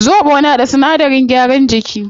Zobo na da sinadaran gyaran jiki